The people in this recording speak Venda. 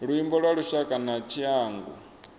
luimbo lwa lushaka na tshiangu